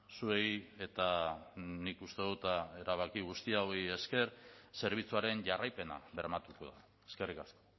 zuei eta nik uste dut erabaki hauei guztiei esker zerbitzuaren jarraipena bermatuko dute eskerrik asko